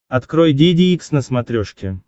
открой деде икс на смотрешке